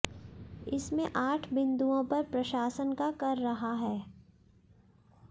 इसमें आठ बिंदुओं पर प्रशासन का कर रहा है